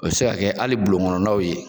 O be se ka kɛ hali bulon kɔnɔnaw ye.